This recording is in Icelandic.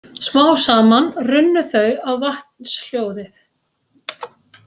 Smám saman runnu þau á vatnshljóðið.